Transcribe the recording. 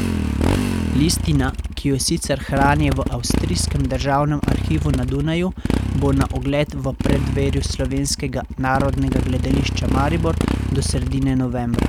Listina, ki jo sicer hranijo v Avstrijskem državnem arhivu na Dunaju, bo na ogled v preddverju Slovenskega narodnega gledališča Maribor do sredine novembra.